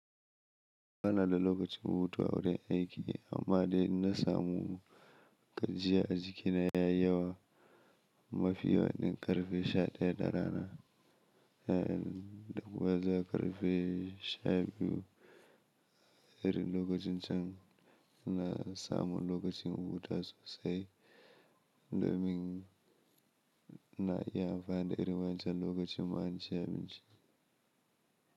Ba na da lokacin hutuwa wurin aiki amma dai in na samu gajiya a jikina ya yi yawa mafi waɗannan ƙarfe 11:00 na yamma, daga baya ƙarfe 12:00. Irin lokacin can na samu lokacin rubuta sosai domin na yi amfani da irin wancan lokacin manciyanci.